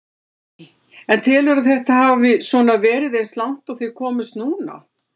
Lillý: En telurðu að þetta hafi svona verið eins og langt og þið komist núna?